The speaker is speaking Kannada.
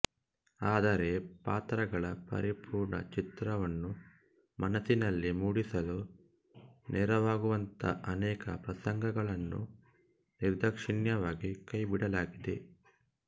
ಆದರೆ ಪಾತ್ರಗಳ ಪರಿಪೂರ್ಣ ಚಿತ್ರವನ್ನು ಮನಸ್ಸಿನಲ್ಲಿ ಮೂಡಿಸಲು ನೆರವಾಗುವಂಥ ಅನೇಕ ಪ್ರಸಂಗಗಳನ್ನು ನಿರ್ದಾಕ್ಷೀಣ್ಯವಾಗಿ ಕೈಬಿಡಲಾಗಿದೆ